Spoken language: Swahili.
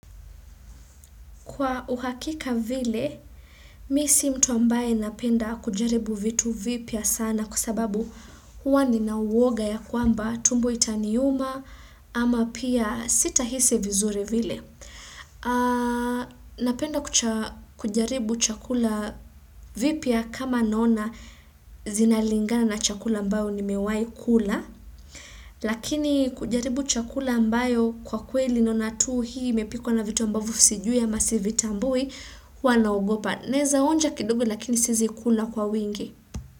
Kwa uhakika vile, mimi si mtu ambaye ninapenda kujaribu vitu vipya sana kwa sababu huwa ni na uoga ya kwamba tumbo itaniuma ama pia sita hisi vizuri vile. Napenda kujaribu chakula vipya kama nona zinalingana na chakula mbayo nimewahi kula. Lakini kujaribu chakula ambayo kwa kweli ninaona tu hii imepikuwa na vitu ambavyo sijui ama sivitambui. Huwa nina ogopa. Ninaweza onja kidugo lakini siwezi kula kwa uwingi.